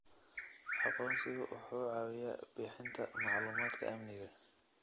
Aqoonsigu wuxuu caawiyaa bixinta macluumaadka amniga.